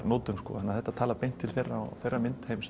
nótum þannig að þetta talar beint til þeirra og þeirra